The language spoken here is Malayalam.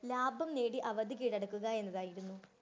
ലാഭം നേടി അവത് കീഴടക്കുക എന്നുള്ളതായിരുന്നു.